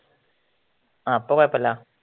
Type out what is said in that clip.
ആ ഇപ്പൊ കൊയപ്പമില്ല